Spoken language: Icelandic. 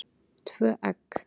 Tvö egg.